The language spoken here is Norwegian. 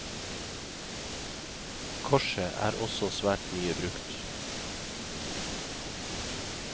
Korset er også svært mye brukt.